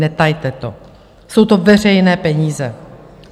Netajte to, jsou to veřejné peníze.